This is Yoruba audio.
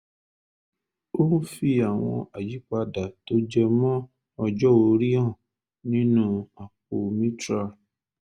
ó ń fi àwọn àyípadà tó jẹ mọ́ ọjọ́ orí hàn nínú àpò mitral